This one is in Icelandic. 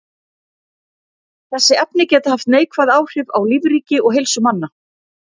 Þessi efni geta haft neikvæð áhrif á lífríki og heilsu manna.